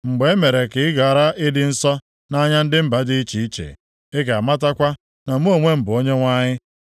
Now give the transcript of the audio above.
Mgbe e mere ka ị ghara ịdị nsọ nʼanya ndị mba dị iche iche, ị ga-amatakwa na mụ onwe m bụ Onyenwe anyị.’ ”